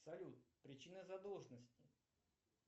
салют причина задолженности